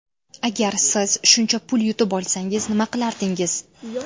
Agar siz shuncha pul yutib olsangiz nima qilardingiz?